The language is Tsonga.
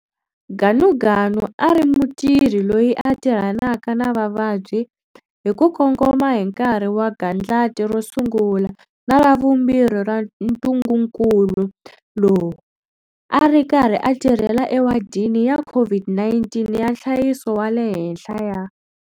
Ganuganu a ri mutirhi loyi a tirhanaka na vavabyi hi ku kongoma hi nkarhi wa gandlati ro sungula na ra vumbirhi ra ntungukulu lowu, a ri karhi a tirhela ewadini ya COVID-19 ya nhlayiso wa le henhla ya.